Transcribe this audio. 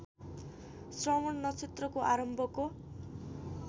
श्रवण नक्षत्रको आरम्भको